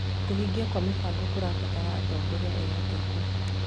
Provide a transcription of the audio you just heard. Kũhingia kwaa mĩbango kũrabatara atongoria ehokeku